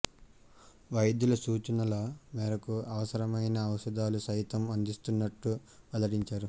వైద్యుల సూచనల మేరకు అవసరమైన ఔషధాలు సైతం అందిస్తున్నట్టు వెల్లడించారు